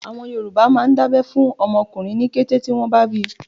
Àwọn Yorùbá máà ń dá abẹ́ fún ọmọ ọkùnrin ní kété tí wọ́n bá bíi.